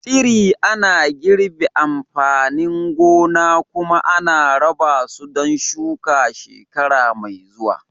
tsiri ana girbe amfanin gona kuma ana raba su don shuka shekara mai zuwa